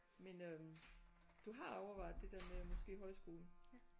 Men øh du har overvejet der der med måske højskole